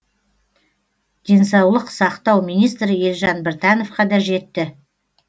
денсаулық сақтау министрі елжан біртановқа да жетті